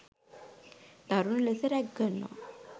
දරුනු ලෙස රැග් කරනවා.